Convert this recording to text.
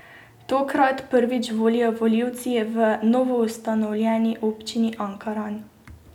Tokrat prvič volijo volivci v novoustanovljeni Občini Ankaran.